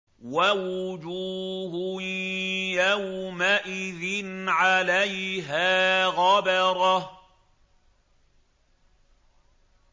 وَوُجُوهٌ يَوْمَئِذٍ عَلَيْهَا غَبَرَةٌ